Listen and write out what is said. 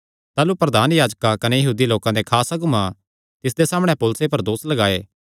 ताह़लू प्रधान याजकां कने यहूदी लोकां देयां खास अगुआं तिसदे सामणै पौलुसे पर दोस लगाये